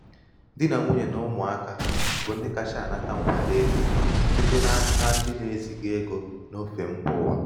di na nwunye na ụmụaka bụ ndị kacha anata nkwado ego site n’aka ndị site n’aka ndị na-eziga ego n’ofe mba ụwa.